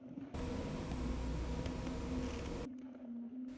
एकदम चारो तरफ से गेट जैसा रूम दिया गया है और बीच में समाधी है।